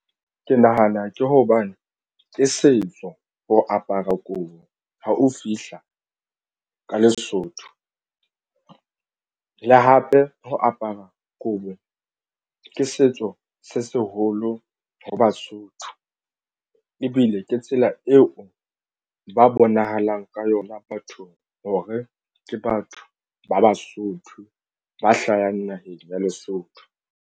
Ke nahana ke hobane ke setso ho apara kobo ha o fihla ka Lesotho le hape ho apara kobo ke setso se seholo ho Basotho ebile ke tsela eo ba bonahalang ka yona bathong hore ke batho ba Basotho ba hlahang naheng ya Lesotho.